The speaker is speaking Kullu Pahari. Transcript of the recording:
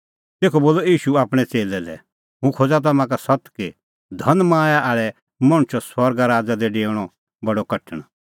तेखअ बोलअ ईशू आपणैं च़ेल्लै लै हुंह खोज़ा तम्हां का सत्त कि धनमाया आल़ै मणछो आसा स्वर्ग राज़ा दी डेऊणअ बडअ कठण